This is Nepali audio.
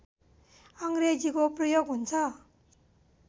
अङ्ग्रेजीको प्रयोग हुन्छ